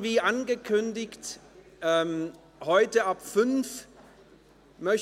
Wie angekündigt, bitte ich Sie, heute ab 17 Uhr